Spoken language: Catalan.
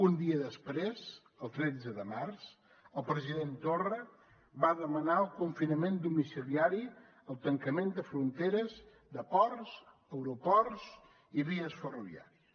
un dia després el tretze de març el president torra va demanar el confinament domiciliari el tancament de fronteres de ports aeroports i vies ferroviàries